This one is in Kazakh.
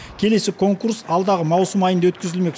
келесі конкурс алдағы маусым айында өткізілмек